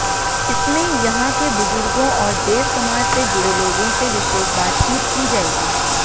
इसमें यहां के बुजुर्गों और देव समाज से जुड़े लोगों से विशेष बातचीत की जाएगी